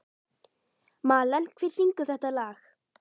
Malen, hver syngur þetta lag?